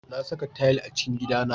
Na saka tayil a cikin gidana.